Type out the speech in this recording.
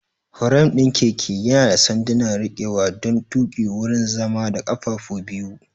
Firam ɗin keke yana da sanduna rikewa don tuƙi, wurin zama, da ƙafafu biyu.